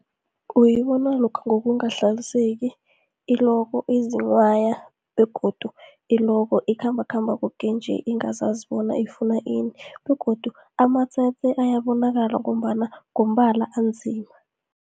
Uyibona lokha ngokungahlaliseki, iloko izinghwaya begodu iloko ikhambakhamba koke nje ingazazi bona ifuna ini. Begodu amatsetse ayabonakala, ngombana ngombala anzima.